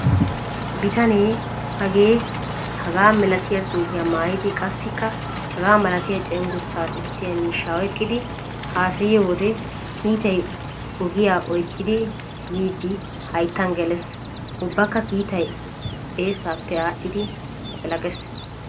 Bitane hagee hagaa malatiya suufiya maayidi qassikka hagaa malatiya cenggurssa sissiya miishshaa oyqqidi haasayiyo wode kiitay ogiya oyqqidi yiidi hayttan gelees. Ubbakka kiitay eessaappe aaxxidi laqilaqees.